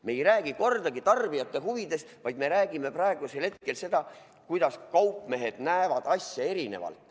Me ei räägi kordagi tarbijate huvidest, vaid me räägime praegusel hetkel sellest, kuidas kaupmehed näevad asja erinevalt.